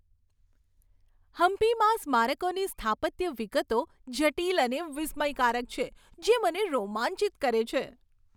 હમ્પીમાં સ્મારકોની સ્થાપત્ય વિગતો જટિલ અને વિસ્મયકારક છે, જે મને રોમાંચિત કરે છે.